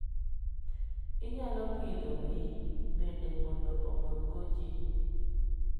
Inyalo pidho winy bende mondo omorgo ji.